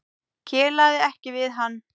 Kelaði ekki við hann.